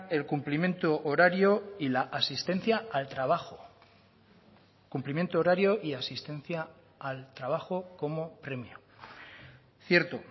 el cumplimiento horario y la asistencia al trabajo cumplimiento horario y asistencia al trabajo como premio cierto